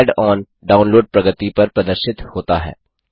add on download प्रगति bar प्रदर्शित होता है